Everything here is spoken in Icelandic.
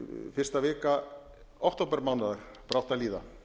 fyrsta vika októbermánaðar brátt að líða